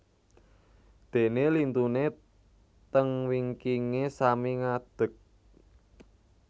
Dene lintune teng wingkinge sami ngadek